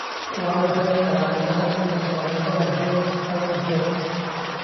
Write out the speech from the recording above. Waa maxay calaamadaha iyo calaamadaha Jones syndrome?